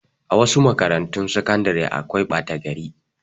A wasu makarantun sakandare akwai ɓata gari.